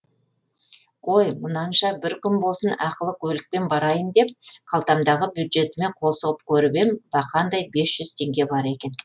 қой мұнанша бір күн болсын ақылы көлікпен барайын деп қалтамдағы бюджетіме қол сұғып көріп ем бақандай бес жүз теңге бар екен